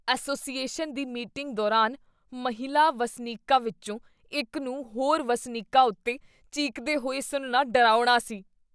Association ਦੀ meeting ਦੌਰਾਨ ਮਹਿਲਾ ਵਸਨੀਕਾਂ ਵਿੱਚੋਂ ਇੱਕ ਨੂੰ ਹੋਰ ਵਸਨੀਕਾਂ ਉੱਤੇ ਚੀਕਦੇ ਹੋਏ ਸੁਣਨਾ ਡਰਾਉਣਾ ਸੀ।